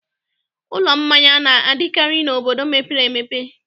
Ụlọ mmanya na-adịkarị n'obodo mepere emepe.